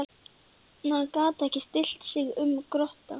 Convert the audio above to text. En hann gat ekki stillt sig um að gorta.